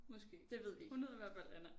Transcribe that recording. Måske. Hun hed i hvert fald Anna